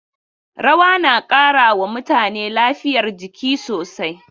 Rawa na ƙara wa mutane lafiyar jiki sosai.